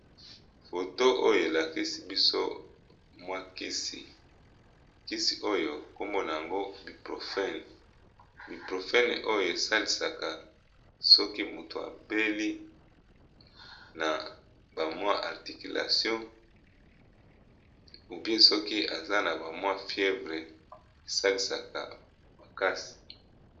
Phto oyo e lakisi biso mwa kisi, kisi oyo kombo n'ango Ibiprophene . Ibiprophene oyo e salisaka soki moto abeli na ba mwa articulation ou bien, soki aza na ba mwa fièvre, e salisaka makasi .